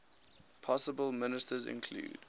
possible ministers included